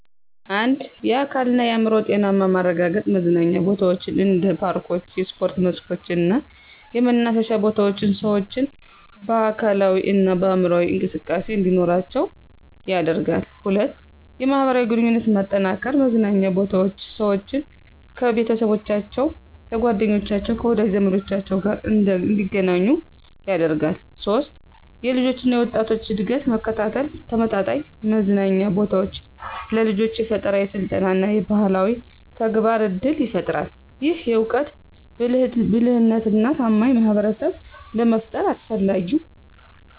1. የአካልና የአዕምሮ ጤናማ ማረጋገጥ መዝናኛ ቦታዎች እንደ ፓርኮች፣ የስፖርት መስኮች እና የመናፈሻ ቦታዎች ሰዎችን በአካላዊ እና በአምሮአዊ እንቅስቃሴ እንዲኖራቸው ያደርጋል 2. የማህበራዊ ግንኙነት መጠናከር መዝናኛ ቦታዎች ሰዎችን፣ ከቤተሰቦቻቸው፣ ከጓደኞቻቸው፣ ከወዳጅ ዘመዶቻቸው ጋር እንደገናኙ ያደርጋሉ 3. የልጆች እና ወጣቶች እድገት መከታተል ተመጣጣኝ መዝናኛ ቦታዎች ለልጆች የፈጠራ፣ የስልጠና እና የባህላዊ ተግባር እድል ይፈጥራል። ይህም እውቀት፣ ብልህነትና ታማኝ ማህበረሰብን ለመፍጠር አስፈላጊው